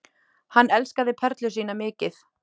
Hann elskaði Perlu sína mikið.